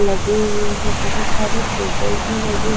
लगे हुए है बहोत सारे टेबल भी लगे--